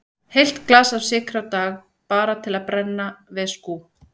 Heilt glas af sykri á dag, bara til að brenna, veskú.